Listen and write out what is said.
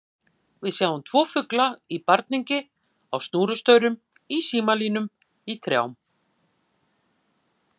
Við sjáum tvo fugla í barningi á snúrustaurum, í símalínum, í trjánum.